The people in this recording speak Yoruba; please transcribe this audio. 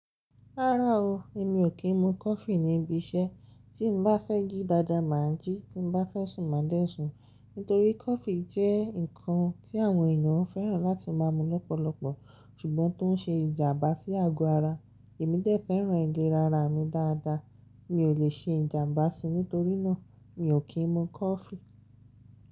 Rárá o, èmi ò kí n mu coffee níbi iṣẹ́, tí n bá fẹ́ jí dáadáa máa jí, tí n bá fẹ́ sùn máa dẹ̀ sùn. Nítorí coffee jẹ́ nǹkan tí àwọn ènìyàn fẹ́ràn láti máa mu lọ́pọ̀lọpọ̀ ṣùgbọ́n tó ń ṣe ìjàmbá sí àgọ́ ara. Èmi dé fẹ́ràn ìlera ara mi dáadáa mi ò lè ṣe ìjàmbá síi, nítorínà mi ò kí ń mu coffee.